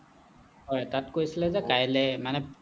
হ'য় তাত কৈছিলে যে কাইলে মানে